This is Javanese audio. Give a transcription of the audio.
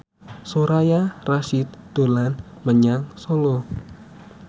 Soraya Rasyid dolan menyang Solo